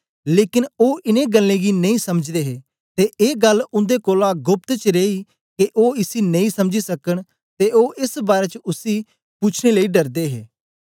लेकन ओ इन्नें गल्लें गी नेई समझदे हे ते ए गल्ल उन्दे कोलां गोप्त च रेई के ओ इसी नेई समझी सकन ते ओ एस बारै च उसी पूछने लेई डरदे हे